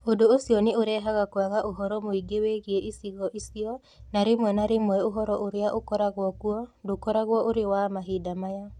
Ũndũ ũcio nĩ ũrehaga kwaga ũhoro mũingĩ wĩgiĩ icigo icio, na rĩmwe na rĩmwe ũhoro ũrĩa ũkoragwo kuo ndũkoragwo ũrĩ wa mahinda maya.